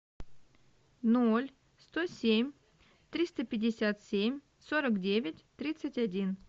ноль сто семь триста пятьдесят семь сорок девять тридцать один